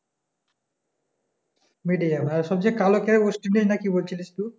medium হ্যাঁ সবচেয়ে কালো খেয়ে অস্ট্রেলিয়া না কি বলছিলিস তু